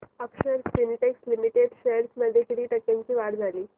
अक्षर स्पिनटेक्स लिमिटेड शेअर्स मध्ये किती टक्क्यांची वाढ झाली